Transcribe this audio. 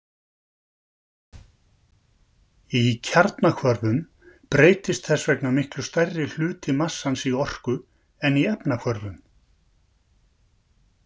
Í kjarnahvörfum breytist þess vegna miklu stærri hluti massans í orku en í efnahvörfum.